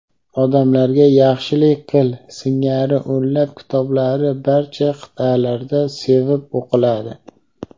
"Odamlarga yaxshilik qil" singari o‘nlab kitoblari barcha qit’alarda sevib o‘qiladi.